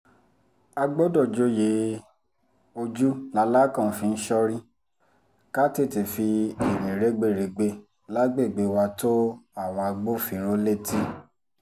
a gbọ́dọ̀ joyè ojú làlákàn fi ń sorí ká tètè fi irin rẹ́gbẹ̀rẹ̀gbẹ́ lágbègbè wa tó àwọn agbófinró létí